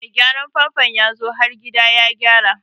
Mai gyaran famfo yazo har gida ya gyara.